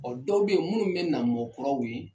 O dɔw bɛ ye munnu bɛ na mɔ kuraw ye.